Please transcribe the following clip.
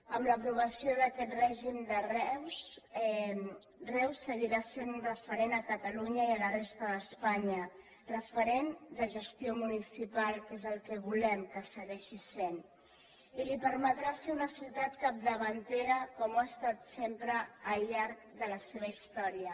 amb l’aprovació d’aquest règim reus seguirà sent referent a catalunya i a la resta d’espanya referent de gestió municipal que és el que volem que segueixi sent i li permetrà ser una ciutat capdavantera com ho ha estat sempre al llarg de la seva història